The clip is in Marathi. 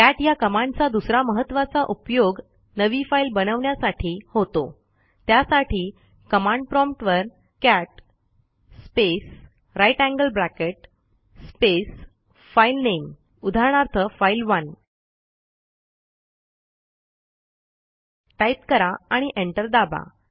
कॅट ह्या कमांडचा दुसरा महत्त्वाचा उपयोग नवी फाईल बनवण्यासाठी होतो त्यासाठी कमांड प्रॉम्प्ट वर cat space greater than sign space filename उदाहरणार्थफाइल1 टाईप करा आणि एंटर दाबा